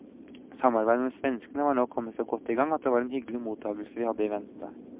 Samarbeidet med svenskene var nå kommet så godt i gang at det var en hyggelig mottagelse vi hadde i vente.